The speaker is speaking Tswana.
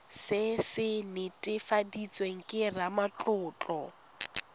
se se netefaditsweng ke ramatlotlo